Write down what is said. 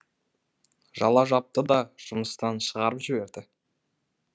жала жапты да жұмыстан шығарып жіберді